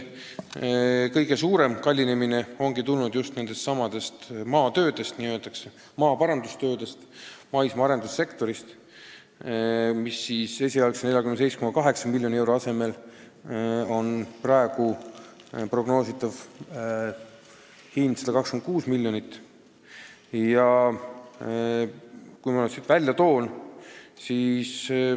Kõige suurem kallinemine on tulnud nendestsamadest maaparandustöödest ja muudest töödest maismaal, mille puhul esialgse 47,8 miljoni euro asemel on prognoositav hind 126 miljonit.